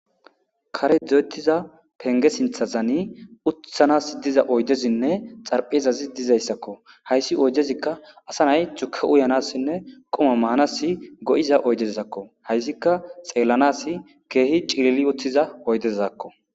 Kare do'ettiza penge sinthazani utthanas diza oydezinne xarphezazi dizayssakko hayssi oydezikka asa nay tuke uyanassinne qoma maanas go'iza oydezakko hayssikka xeellanas keehi cilili uthiza oydezakko.